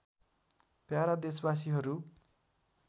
para देशबासीहरू